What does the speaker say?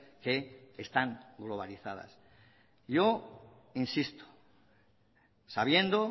que están globalizadas yo insisto sabiendo